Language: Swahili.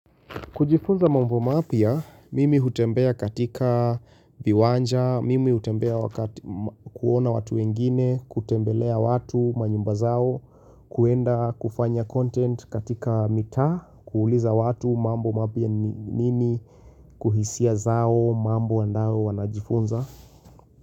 Kujifunza mambo mapya, mimi hutembea katika viwanja, mimi hutembea kuona watu wengine, kutembelea watu, manyumba zao, kuenda kufanya content katika mitaa, kuuliza watu mambo mapya ni nini, kuhisia zao, mambo andao wanajifunza.